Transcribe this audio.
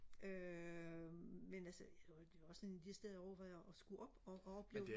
øh men altså det er også en af de steder jeg overvejer at skulle op og og opleve